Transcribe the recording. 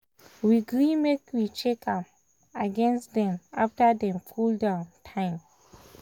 we gree make we check am again after dem after dem cool-down time.